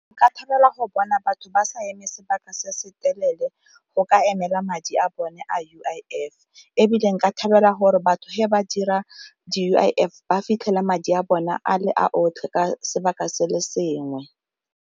Nka thabela go bona batho ba sa eme sebaka se se telele go ka emela madi a bone U_I_F, ebile nka thabela gore batho ge ba dira di- U_I_F ba fitlhela madi a bone a le a otlhe ka sebaka se le sengwe.